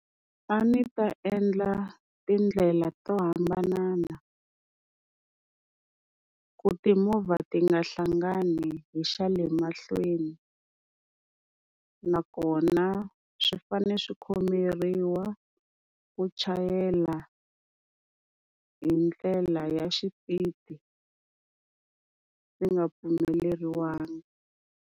A ndzi ta endla tindlela to hambanana, ku timovha ti nga hlangani hi xa le mahlweni, nakona swi fane swi khomeriwa ku chayela hi ndlela ya xipidi swi nga pfumeleriwangi.